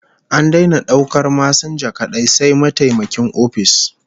An daina daukar masinja kadai, sai mataimakin ofis